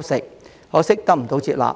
吸食，可惜不獲接納。